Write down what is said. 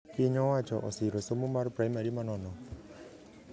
Pinyo owacho osiro somo mar primary manono